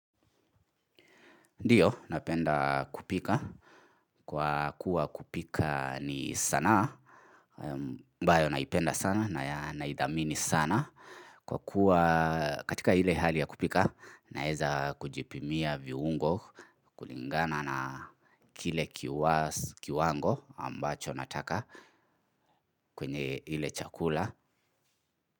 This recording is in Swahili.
Ndiyo, napenda kupika. Kwa kuwa kupika ni sanaa amabyo naipenda sana na naithamini sana. Kwa kuwa katika ile hali ya kupika, naeza kujipimia viungo kulingana na kile kiwango ambacho nataka kwenye ile chakula.